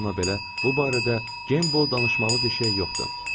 Bununla belə, bu barədə gembo danışmalı bir şey yoxdur.